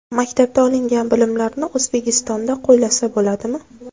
Maktabda olingan bilimlarni O‘zbekistonda qo‘llasa bo‘ladimi?